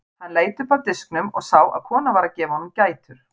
Hann leit upp af diskinum og sá að kona var að gefa honum gætur.